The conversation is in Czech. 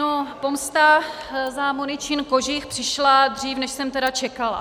No, pomsta za Moničin kožich přišla dřív, než jsem tedy čekala.